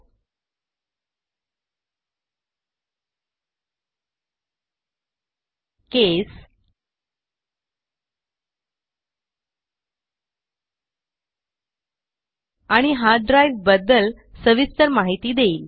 ही मार्गदर्शिका तुम्हाला operating system CPU RAM graphics card case आणि हार्ड ड्राइव बद्दल सविस्तर माहिती देईल